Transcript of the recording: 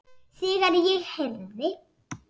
Þegar ég heyrði